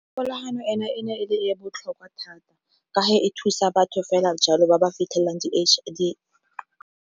Kgolagano ena e ne e le e botlhokwa thata, ka fae thusa batho fela jalo ba ba fitlhelelang di .